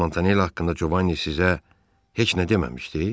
Bəs Montanella haqqında Covan'ı sizə heç nə deməmişdi?